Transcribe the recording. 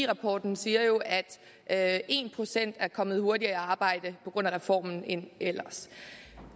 rapporten siger jo at en procent flere er kommet hurtigere i arbejde på grund af reformen end ellers